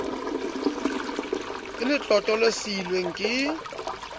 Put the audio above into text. ka letlotlo le siilweng ke